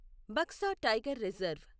Baksa tiger reserve